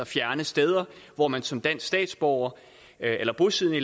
fjerne steder hvor man som dansk statsborger eller bosiddende